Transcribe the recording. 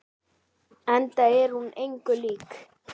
Enda er hún engu lík.